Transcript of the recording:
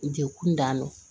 Jɛkulu dannɔ